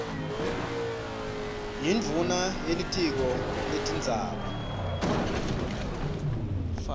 yindvuna yelitiko letindzaba